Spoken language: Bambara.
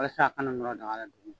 Walasa a kana nɔrɔ daga la duguma